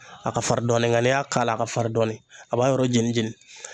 A ka farin dɔɔnin nka n'i y'a k'a la a ka farin dɔɔni a b'a yɔrɔ jeni jeni.